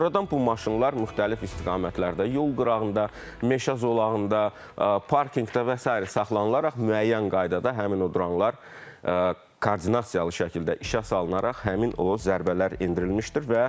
Sonradan bu maşınlar müxtəlif istiqamətlərdə yol qırağında, meşə zolağında, parkinqdə və sair saxlanılaraq müəyyən qaydada həmin o dronlar koordinasiyalı şəkildə işə salınaraq həmin o zərbələr endirilmişdir.